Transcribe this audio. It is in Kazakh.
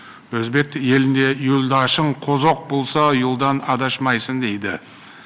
өзбек елінде юлдошың қозоқ болса юлдан адашмайсың дейді